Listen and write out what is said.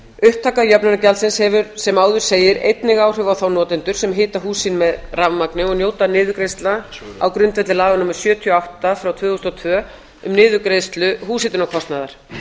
upptaka jöfnunargjaldsins hefur sem áður segir einnig áhrif á þá notendur sem hita hús sín með rafmagni og njóta niðurgreiðslna á grundvelli laga númer sjötíu og átta tvö þúsund og tvö um niðurgreiðslu húshitunarkostnaðar